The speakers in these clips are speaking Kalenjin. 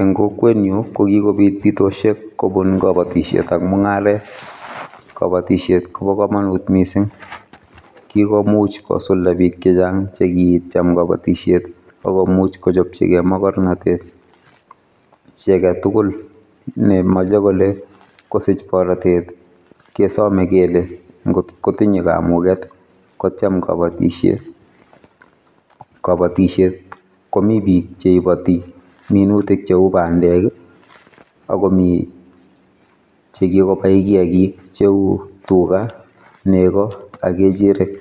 Eng kokwetnyu kokikobit bitosiek kobun kabatisietak mungaret kabatisiet kobo kamanut mising kikomuch kosulda biik chechang chekicham kabatisiet akomuch kochopchigei magornotet. Chi agetugul nemoche kole kosich borotet kesome kele ngotkotinye kamuget kotiem kabatisiet. Kabatisiet komi biik cheibati minutik cheu bandek akomii chekikobai kiagik cheu tuga, nego ak kechirek.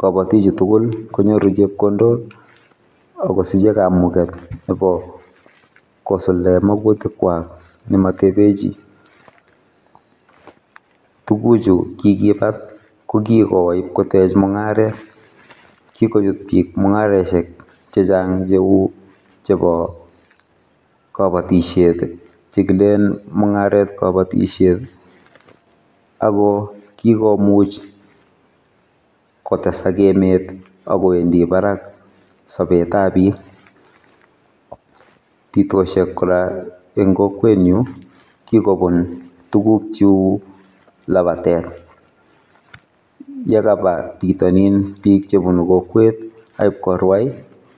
Kabatik chu tugul konyoru chepkondok akosiche kamuget nebo kosuldae magutikwak ne matebechi. Tuguchu kikibat kokigowo ipkotech mungaret kikochut biik mungaresiek chechang cheu chebo kabatisiet chekilen mungaret kabatisiet akokikomuch kotesak emet akowendi barak sobetab biik. Bitosiek kora eng kokwetnyu kikobun tugukchu labatet yekaba bitonin bik chebunu kokwet akipkorwai.